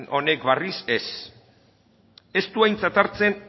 honek berriz ez ez du aintzat hartzen